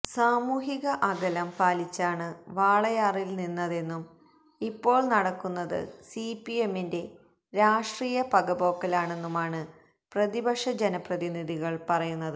സാമൂഹിക അകലം പാലിച്ചാണ് വാളയാറില് നിന്നതെന്നും ഇപ്പോള് നടക്കുന്നത് സിപിഎമ്മിന്റെ രാഷ്ട്രീയ പകപോക്കലാണെന്നുമാണ് പ്രതിപക്ഷ ജനപ്രതിനിധികള് പറയുന്നത്